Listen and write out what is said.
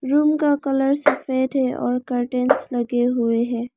Room का colour सफेद है और कर्टन लगे हुए हैं।